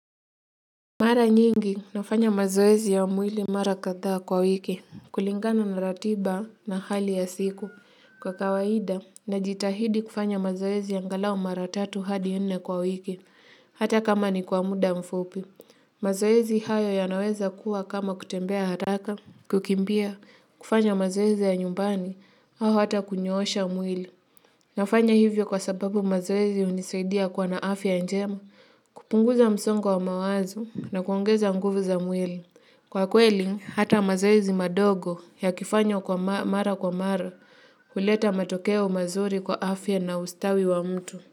Mara nyingi nafanya mazoezi ya mwili mara kadhaa kwa wiki, kulingana na ratiba na hali ya siku kwa kawaida najitahidi kufanya mazoezi angalau mara tatu hadi nne kwa wiki, hata kama ni kwa muda mfupi. Mazoezi hayo yanaweza kuwa kama kutembea haraka, kukimbia, kufanya mazoezi ya nyumbani au hata kunyoosha mwili. Nafanya hivyo kwa sababu mazoezi hunisaidia kua na afya njema, kupunguza msongo wa mawazo na kuongeza nguvu za mwili. Kwa kweli, hata mazoezi madogo yakifanywa kwa mara kwa mara huleta matokeo mazuri kwa afya na ustawi wa mtu.